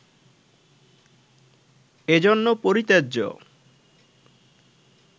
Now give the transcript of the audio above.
এজন্য পরিত্যাজ্য